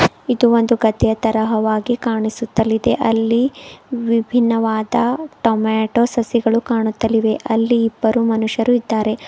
ಇದು ಒಂದು ಗದ್ದೆ ತರ ಹವಾ ಆಗಿ ಕಾಣಿಸುತ್ತಲಿದೆ ಅಲ್ಲಿ ವಿಭಿನ್ನವಾದ ಟೊಮೆಟೋ ಸಸಿಗಳು ಕಾಣುತ್ತಲಿವೆ. ಅಲ್ಲಿ ಇಬ್ಬರು ಮನುಷ್ಯರು ಇದ್ದಾರೆ.